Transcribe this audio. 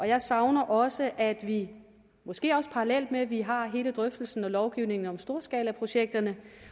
jeg savner også at vi måske parallelt med at vi har hele drøftelsen og lovgivningen om storskalaprojekterne